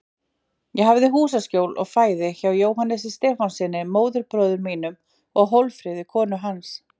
Ég hafði húsaskjól og fæði hjá Jóhannesi Stefánssyni, móðurbróður mínum, og Hólmfríði, konu hans.